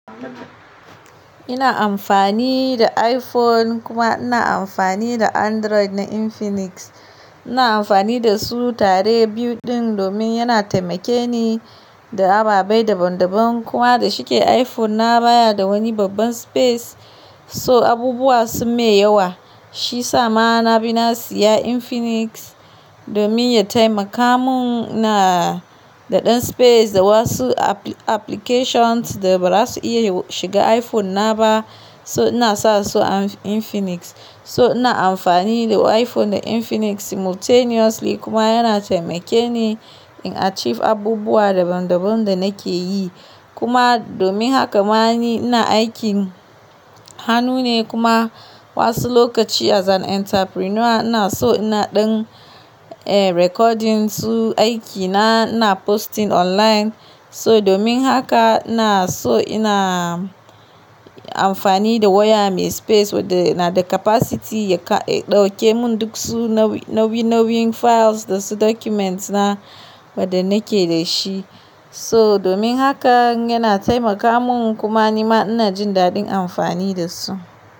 Ina amfani da iPhone kuma ina amfani da Android na Infinix. Ina amfani da su tare biyu din domin yana taimake ni da ababei daban daban kuma dashi ke iPhone na baya da wani babban space so abubuwa sun mun yawa shi sa ma na bi na siya Infinix domin ya taimaka mun na da ɗan space da wasu applications da ba za su iya shiga iPhone na ba so ina sa so Infinix. So ina amfani da iPhone da Infinix simultaneously kuma yana taimake ni in achieve abubuwa daban daban da nake yi. Kuma domin haka ma ni ina aikin hannu ne kuma wasu lokaci as an entrepreneur ina so ina ɗin, eh recording su aikina ina posting online. So domin haka ina so ina amfani da waya mai space wadda yana da capacity ya ƙa-- ya ɗauke mun duk su nauyi, nauyi, nauyin files da su documents na wadda nake dashi. So domin haka yana taimaka mun kuma nima ina jin daɗin amfani da su.